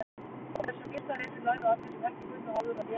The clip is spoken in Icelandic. Á þessum fyrsta vetri lærðu allir, sem ekki kunnu áður, að lesa og skrifa.